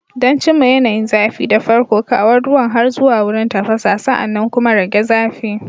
Don cimma yanayin zafi, da farko, kawo ruwan har zuwa wurin tafasa, sa'an nan kuma rage zafi.